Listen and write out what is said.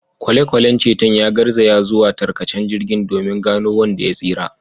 Kwale-kwalen ceton ya garzaya zuwa tarkacen jirgin domin gano wanda ya tsira.